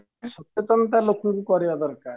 ସଚେତନତା ଲୋକଙ୍କୁ କରେଇବା ଦରକାର